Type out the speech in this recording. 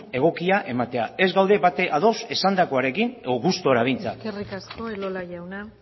egokia ematea ez gaude batere ados esandakoarekin edo gustura behintzat eskerrik asko elola jauna